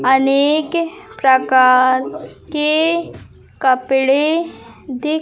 अनेक प्रकार के कपड़े दि--